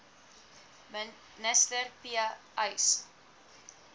minister p uys